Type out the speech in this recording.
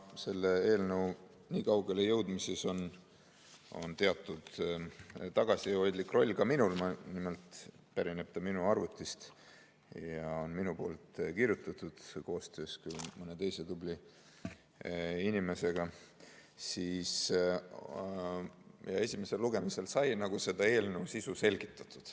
Kuna selle eelnõu nii kaugele jõudmises on teatud tagasihoidlik roll ka minul – nimelt pärineb ta minu arvutist ja on minu kirjutatud, koostöös mõne tubli inimesega –, siis esimesel lugemisel sai selle sisu selgitatud.